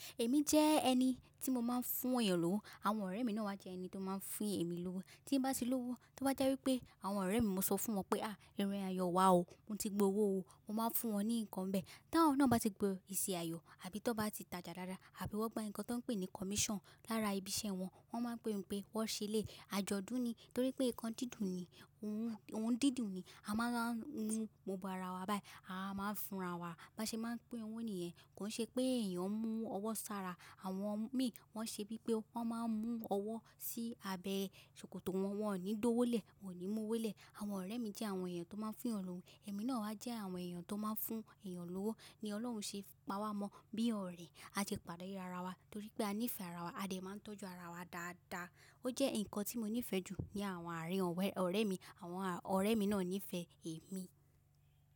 Èmi jẹ́ ẹni tí mo máa ń fún èèyàn lówó, àwọn ọ̀rẹ́ mi náà wá jẹ́ ẹni tó máa ń fún èmi lówó. Tí n bá ti lówó, tó bá jẹ́ wípé àwọn ọ̀rẹ́ mi, mo sọ fún wọn pé, "à, èrin ayọ̀ wà o, mo ti gbowó o." Mo máa ń fún wọn ní nǹkan bẹ́ẹ̀. Tàwọn náà bá ti gbo eṣi ayọ̀ àbí tón bá ti tajà dáadáa àbí wọ́n gba nǹkan tó pè ní commission lára ibi iṣẹ́ wọn, wọ́n máa ń pe mi pé wọ́n ṣe léyi. Àjọ̀dún ni torí pé nǹkan dídùn ni, ohun, ohun dídùn ni. A máa ń round gbogbo ara wa báyìí, a máa ń fúnra wa. Ba ṣe máa ń pín owó nìyẹn, kò n ṣe pé èèyàn mú ọwọ́ sára. Àwọn mi wọ́n ṣe bípé wọ́n máa ń mú ọwọ́ sí abẹ́ ṣòkòtò wọn, wọ́n ò ní dówó lẹ̀, wọ́n ò ní mú owó lẹ̀. Àwọn ọ̀rẹ́ mi jẹ́ àwọn èèyàn tó máa ń fún èèyàn lówó, èmi náà wá jẹ́ àwọn èèyàn tó máa ń fún èèyàn lówó. Ni Ọlọ́run ṣe pawá mọ bí ọ̀rẹ́, a sẹ́ pàdé ara wa torí pé a nífẹ̀ẹ́ ara wa, a dẹ̀ máa ń tọ́jú ara wa dáadáa. Ó jẹ́ nǹkan tí mo nífẹ̀ẹ́ jù ní àwọn àárín ọ̀rẹ́ mi, àwọn ọ̀rẹ́ mi náà nífẹ̀ẹ́ èmi.